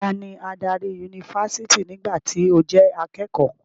Tani adarí yunifásítì nígbà tí o jẹ́ akékọ̀ọ́?